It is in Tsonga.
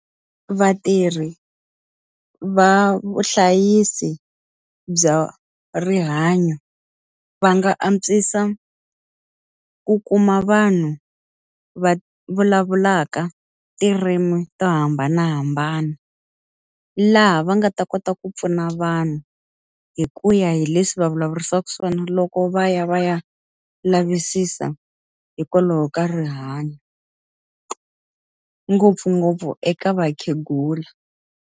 Vatirhi va vuhlayisi bya rihanyo va nga antswisa ku kuma vanhu va vulavulaka tindzimi to hambanahambana. Laha va nga ta kota ku pfuna vanhu hi ku ya hi leswi va vulavurisaka swona loko va ya va ya lavisisa hikwalaho ka rihanyo. Ngopfungopfu eka vakhegula.